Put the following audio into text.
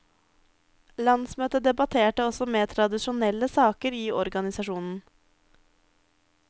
Landsmøtet debatterte også mer tradisjonelle saker i organisasjonen.